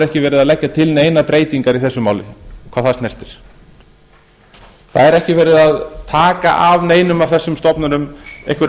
ekki verið að leggja til neinar breytingar í þessu máli hvað það snertir það er ekki verið að taka af neinum af þessum stofnunum einhver